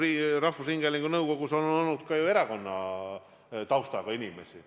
Ent rahvusringhäälingu nõukogus on olnud ju ka erakonnataustaga inimesi.